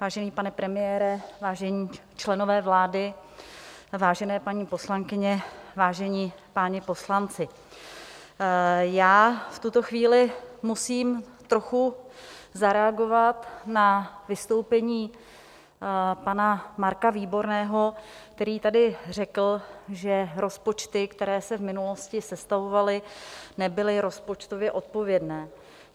Vážený pane premiére, vážení členové vlády, vážené paní poslankyně, vážení páni poslanci, já v tuto chvíli musím trochu zareagovat na vystoupení pana Marka Výborného, který tady řekl, že rozpočty, které se v minulosti sestavovaly, nebyly rozpočtově odpovědné.